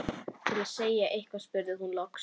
Til að segja eitthvað spurði hún loks